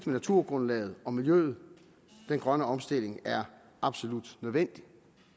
naturgrundlaget og miljøet den grønne omstilling er absolut nødvendig